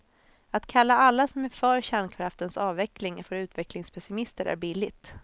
Att kalla alla som är för kärnkraftens avveckling för utvecklingspessimister är billigt.